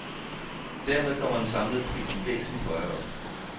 Dermed kommer den samlede pris væsentligt højere op.